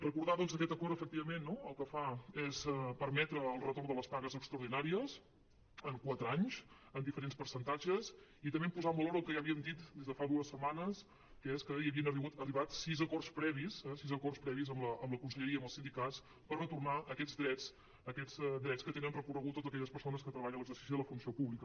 recordar doncs que aquest acord efectivament no el que fa és permetre el retorn de les pagues extraordinàries en quatre anys en diferents percentatges i també posar en valor el que ja havíem dit des de fa dues setmanes que és que havien arribat a sis acords previs sis acords previs amb la conselleria i amb els sindicats per retornar aquests drets que tenen reconeguts totes aquelles persones que treballen en l’exercici de la funció pública